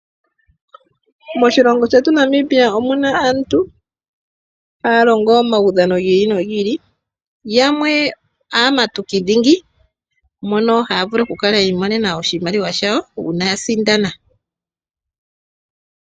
Moshilongo shetu Namibia omuna aantu haya longo omaudhano gi ili nogi ili yamwe aamatuki dhingi mono haya vulu okukala yi imonena oshimaliwa shawo uuna ya sindana.